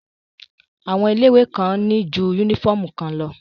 Àwọn ilé ìwé kan ní ju yúnífọ̀mù kan lọ